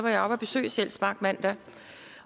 jeg oppe at besøge sjælsmark i mandags